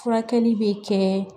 Furakɛli bɛ kɛ